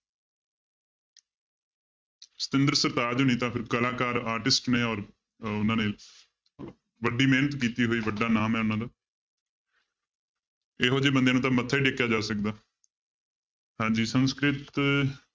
ਸਤਿੰਦਰ ਸਰਤਾਜ ਨੇ ਤਾਂ ਫਿਰ ਕਲਾਕਾਰ artist ਨੇ ਔਰ ਅਹ ਉਹਨਾਂ ਨੇ ਵੱਡੀ ਮਿਹਨਤ ਕੀਤੀ ਹੈ ਬਾਈ ਵੱਡਾ ਨਾਮ ਹੈ ਉਹਨਾਂ ਦਾ ਇਹੋ ਜਿਹੇ ਬੰਦਿਆਂ ਨੂੰ ਤਾਂ ਮੱਥਾ ਹੀ ਟੇਕਿਆ ਜਾ ਸਕਦਾ ਹਾਂਜੀ ਸੰਸਕ੍ਰਿਤ,